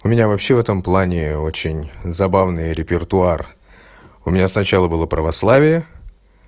у меня вообще в этом плане очень забавный репертуар у меня сначала было православие